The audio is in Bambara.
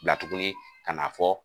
Bila tuguni ka n'a fɔ.